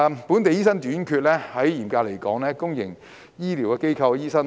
本地醫生短缺，嚴格來說是公營醫療機構的醫生短缺。